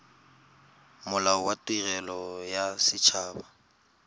molao wa tirelo ya set